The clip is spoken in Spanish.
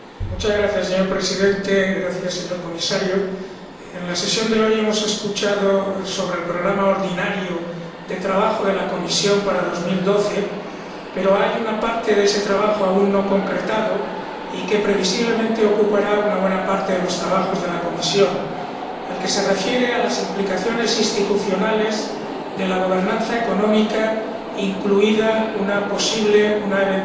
Señor Presidente, señor Comisario, en la sesión de hoy se ha hablado sobre el programa ordinario de trabajo de la Comisión para 2012, pero hay una parte de ese trabajo aún no concretada y que previsiblemente ocupará una buena parte de los trabajos de la Comisión la que se refiere a las implicaciones institucionales de la gobernanza económica, incluida una posible, una eventual,